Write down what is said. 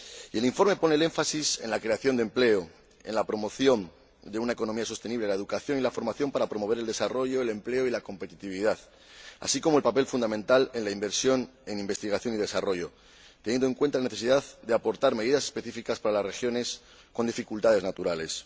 El informe pone el énfasis en la creación de empleo, en la promoción de una economía sostenible, en la educación y en la formación para promover el desarrollo, el empleo y la competitividad, así como en el papel fundamental de la inversión en investigación y desarrollo, teniendo en cuenta la necesidad de aportar medidas específicas para las regiones con dificultades naturales.